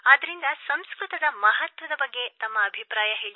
ಆದ್ದರಿಂದ ಸಂಸ್ಕೃತದ ಮಹತ್ವದ ಬಗ್ಗೆ ತಮ್ಮ ಅಭಿಪ್ರಾಯ ತಿಳಿಸಿ